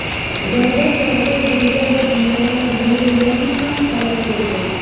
Zarba chog‘ida brigada generali Munir Yafin ham halok bo‘lgan.